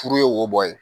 Furu ye wo bɔ ye